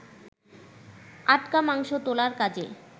আটকা মাংস তোলার কাজে